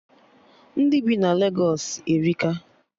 Ndị bi na Legos erika